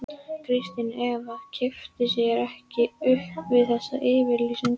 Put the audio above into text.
Kristín Eva kippti sér ekki upp við þessa yfirlýsingu.